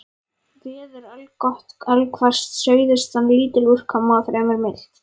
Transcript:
Veður allgott allhvass suðaustan lítil úrkoma og fremur milt.